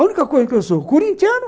A única coisa que eu sou, corintiano,